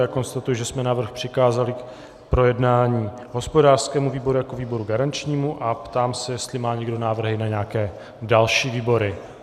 Já konstatuji, že jsme návrh přikázali k projednání hospodářskému výboru jako výboru garančnímu, a ptám se, jestli má někdo návrhy na nějaké další výbory.